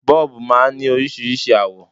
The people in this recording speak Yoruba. Bọ́ọ̀bù máa ń ní oríṣiríṣi àwọ̀